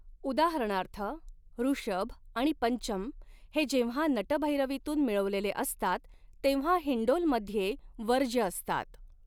उदाहरणार्थ, ऋषभ आणि पंचम हे जेव्हा नटभैरवीतून मिळवलेले असतात तेव्हा हिंडोलमध्ये वर्ज्य असतात.